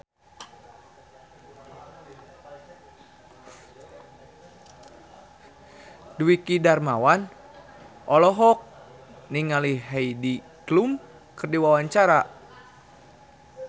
Dwiki Darmawan olohok ningali Heidi Klum keur diwawancara